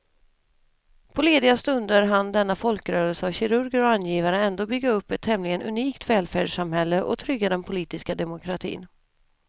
På lediga stunder hann denna folkrörelse av kirurger och angivare ändå bygga upp ett tämligen unikt välfärdssamhälle och trygga den politiska demokratin.